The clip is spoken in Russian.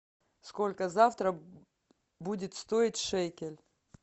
сколько завтра будет стоить шекель